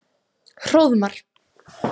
Hróðmar